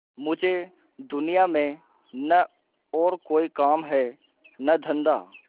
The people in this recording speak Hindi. मुझे दुनिया में न और कोई काम है न धंधा